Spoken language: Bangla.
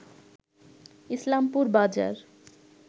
ইসলামপুর বাজার